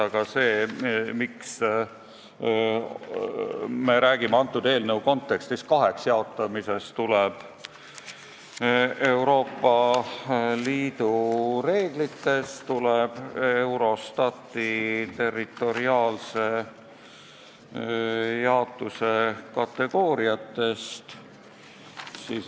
Aga see, et me räägime eelnõu kontekstis kaheks jaotamisest, tuleneb Euroopa Liidu reeglitest, tuleneb Eurostati territoriaalse jaotuse kategooriatest.